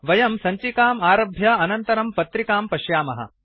वयं सञ्चिकाम् आरभ्य अनन्तरं पत्रिकां पश्यामः